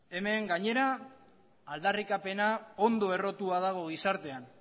hemen gainera aldarrikapena ondo errotua dago gizartean